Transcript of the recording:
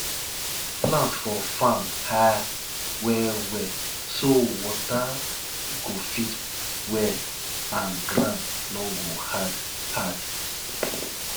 plant for farm high well well so water go fit well and ground no go hard hard